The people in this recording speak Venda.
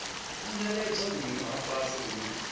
angaredzwa vhuimo ha fhasisa vhune